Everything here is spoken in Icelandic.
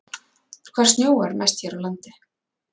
Hvar snjóar mest hér á landi?